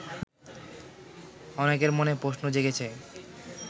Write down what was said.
অনেকের মনে প্রশ্ন জেগেছে